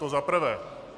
To za prvé.